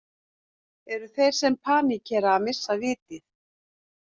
Eru þeir sem paníkera að missa vitið?